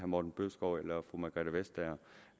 morten bødskov eller fru margrethe vestager